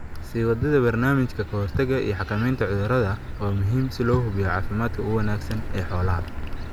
Sii wadida barnaamijyada ka hortagga iyo xakamaynta cudurrada waa muhiim si loo hubiyo caafimaadka ugu wanaagsan ee xoolaha.